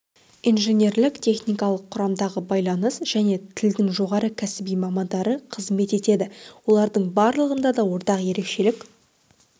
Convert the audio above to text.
инженерлік-техникалық құрамдағы байланыс және тылдың жоғары кәсіби мамандары қызмет етеді олардың барлығында да ортақ ерекшелік